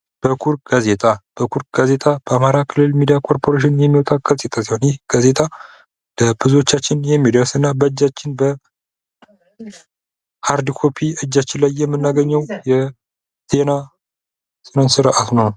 በኩር ጋዜጣ በኩር ጋዜጣ በአማራ ክልል ሚድያ ኮርፖሬሽን የሚወጣ ጋዜጣ ሲሆን ይህ ጋዜጣ ለብዙዎቻችን የሚደርስ እና በእጃችን በሃርድ ኮፒ የሚናገኘ የዜና ስርዓት ነው።